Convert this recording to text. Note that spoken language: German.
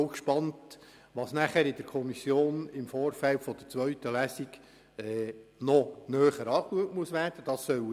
Ich bin dann auch gespannt, was im Vorfeld der zweiten Lesung noch wird näher betrachtet werden müssen.